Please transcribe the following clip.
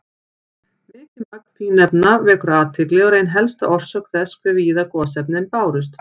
Mikið magn fínefna vekur athygli og er ein helsta orsök þess hve víða gosefnin bárust.